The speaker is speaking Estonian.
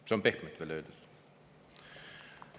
See on veel pehmelt öeldud.